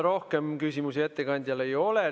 Rohkem küsimusi ettekandjale ei ole.